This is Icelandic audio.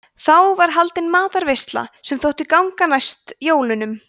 þá var haldin matarveisla sem þótti ganga næst jólunum